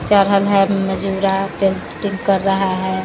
मजूरा पेटिंग कर रहा है।